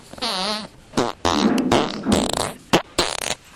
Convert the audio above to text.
завитинск